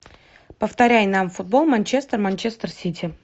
повторяй нам футбол манчестер манчестер сити